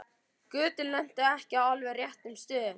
Götin lentu ekki á alveg réttum stöðum.